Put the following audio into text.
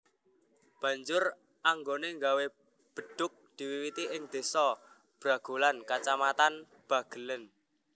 Banjur anggonè gawé bedhug diwiwiti ing désa Bragolan kacamatan Bagelén